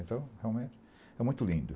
Então, realmente, é muito lindo.